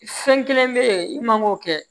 Fɛn kelen bɛ ye i man k'o kɛ